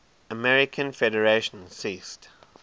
american federation ceased